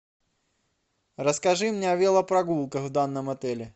расскажи мне о велопрогулках в данном отеле